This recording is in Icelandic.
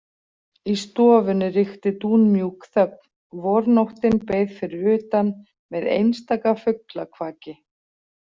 Í stofunni ríkti dúnmjúk þögn, vornóttin beið fyrir utan með einstaka fuglakvaki.